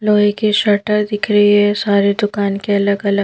लोहे के शटर दिख रही है सारे दुकान के अलग अलग--